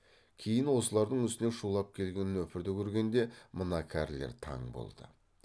кейін осылардың үстіне шулап келген нөпірді көргенде мына кәрілер таң болды